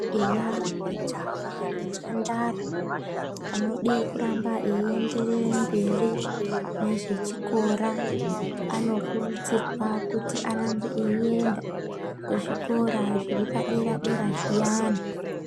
Eya majaya nemhandara vanoda kuramba veida kuenderera mberi nezvechikora vanokurudzirwa kuti varambe veienda kuzvikora zviripa dera dera zviyani